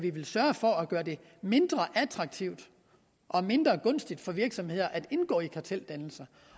sørge for at gøre det mindre attraktivt og mindre gunstigt for virksomheder at indgå i karteldannelser